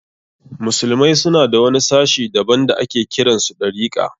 Musulmai suna da wani sashi daban da ake kiran su Ɗarika.